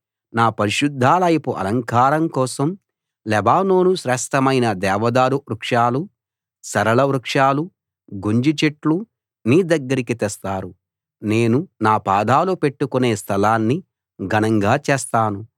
నా పరిశుద్ధాలయపు అలంకారం కోసం లెబానోను శ్రేష్ఠమైన దేవదారు వృక్షాలూ సరళవృక్షాలూ గొంజిచెట్లూ నీ దగ్గరికి తెస్తారు నేను నా పాదాలు పెట్టుకునే స్థలాన్ని ఘనంగా చేస్తాను